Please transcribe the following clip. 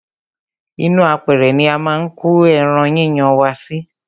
ínú apẹrẹ ni a máa ń ko ẹran yíyan wa sí.